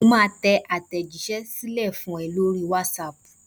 Mo máa tẹ àtẹ̀jíṣẹ́ sílẹ̀ fún ẹ lórí whatsapp.